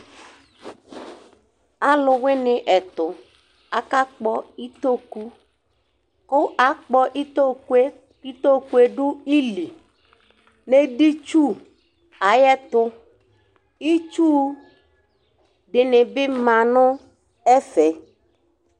alowini ɛto aka kpɔ itoku ko akpɔ itokue ko itokue do ili n'edi tsu ayi ɛtu itsu dini bi ma no ɛfɛ